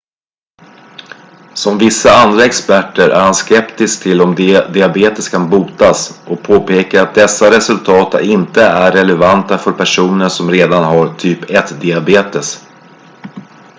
som vissa andra experter är han skeptisk till om diabetes kan botas och påpekar att dessa resultat inte är relevanta för personer som redan har typ 1-diabetes